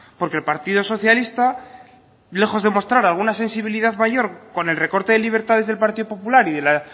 porque el partido socialista lejos de mostrar alguna sensibilidad mayor con el recorte de libertades del partido popular y de la